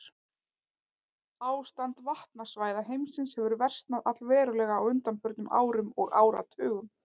Ástand vatnasvæða heimsins hefur versnað allverulega á undanförnum árum og áratugum.